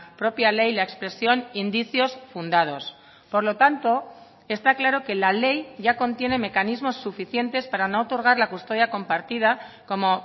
propia ley la expresión indicios fundados por lo tanto está claro que la ley ya contiene mecanismos suficientes para no otorgar la custodia compartida como